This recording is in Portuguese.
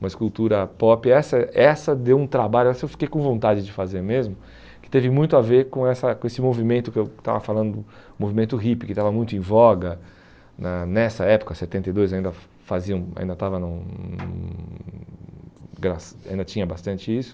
uma escultura pop, essa essa deu um trabalho, essa eu fiquei com vontade de fazer mesmo, que teve muito a ver com essa com esse movimento que eu estava falando, o movimento hippie, que estava muito em voga na nessa época, setenta e dois, ainda faziam, ainda estava, hum ainda tinha bastante isso.